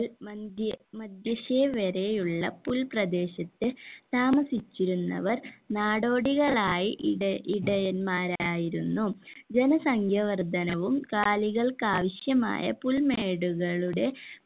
മന്ദ്യ മന്ദശി വരെ ഉള്ള പുൽപ്രദേശത്ത് താമസിച്ചിരുന്നവർ നാടോടികളായി ഇട ഇടയന്മാരായിരുന്നു ആയിരുന്നു ജനസംഖ്യ വർദ്ധനവും കാലികൾക്കാവിശ്യമായ പുൽമേടുകളുടെ